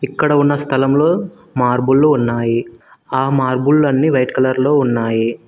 ఇక్కడ ఉన్న స్థలంలో మార్బుల్లు ఉన్నాయి ఆ మార్బుల్లన్ని వైట్ కలర్ లో ఉన్నాయి.